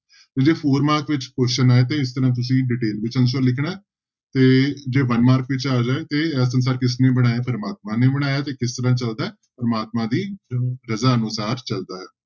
ਤੇ ਜੇ four mark ਵਿਚ question ਆਏ ਤੇ ਇਸ ਤਰ੍ਹਾਂ ਤੁਸੀਂ detail ਵਿੱਚ answer ਲਿਖਣਾ ਹੈ ਤੇ ਜੇ one mark ਵਿੱਚ ਆ ਜਾਏ ਕਿ ਇਹ ਸੰਸਾਰ ਕਿਸਨੇ ਬਣਾਇਆ, ਪ੍ਰਮਾਤਮਾ ਨੇ ਬਣਾਇਆ ਹੈ ਤੇ ਕਿਸ ਤਰ੍ਹਾਂ ਚੱਲਦਾ ਹੈ ਪ੍ਰਮਾਤਮਾ ਦੀ ਰਜ਼ਾ ਅਨੁਸਾਰ ਚੱਲਦਾ ਹੈ।